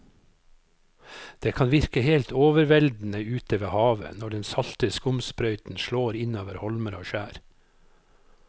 Det kan virke helt overveldende ute ved havet når den salte skumsprøyten slår innover holmer og skjær.